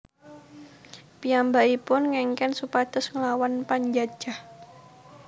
Piyambakipun ngèngkèn supados nglawan panjajah